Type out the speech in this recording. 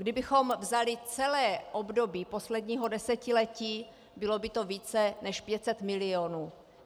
Kdybychom vzali celé období posledního desetiletí, bylo by to více než 500 milionů.